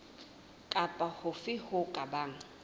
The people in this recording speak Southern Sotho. kapa hofe ho ka bang